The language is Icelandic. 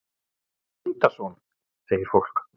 Tengdason? segir fólk.